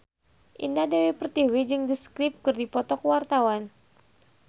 Indah Dewi Pertiwi jeung The Script keur dipoto ku wartawan